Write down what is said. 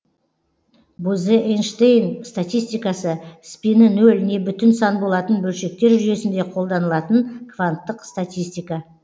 бозе эйнштейн статистикасы спині нөл не бүтін сан болатын бөлшектер жүйесінде қолданылатын кванттық статистика